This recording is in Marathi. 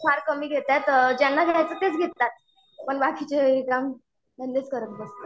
फार कमी घेतात ज्यांना घ्यायचं तेच घेतात. पण बाकीचे करत बसतात.